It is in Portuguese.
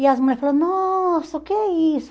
E as mulheres falaram, nossa, o que é isso?